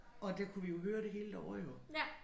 Og der kunne vi jo høre det hele derovre jo